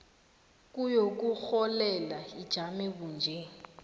yokurholela ijame bunje